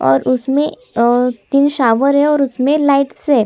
और उसमे अ तीन शॉवर है और उसमे लाइट्स है।